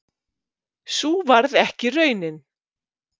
Sú varð ekki raunin